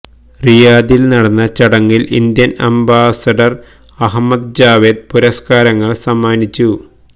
റിയാദില് നടന്ന ചടങ്ങില് Indian ambassador Ahmed Javed പുരസ്കാരങ്ങള് സമ്മാനിച്ചു